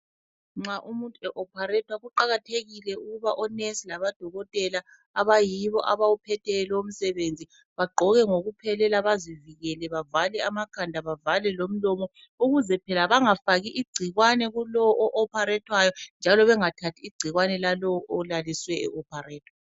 Nxa umuntu e opharethwa kuqakathekile ukuba onesi labodokotela abayibo abawuphetheyo lumsebenzi bagqoke ngokuphelele bazivikele bavale amakhanda bavale lomlomo ukuze bangafaki igcikwane kulowo o opharethwayo njalo bengathathi igcikwane lalowo olalisiweyo e opharethwa.